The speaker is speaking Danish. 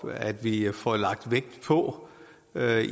at vi får lagt vægt på